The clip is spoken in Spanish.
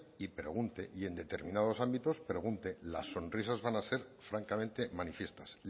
y en determinados ámbitos pregunte las sonrisas van a ser francamente manifiestas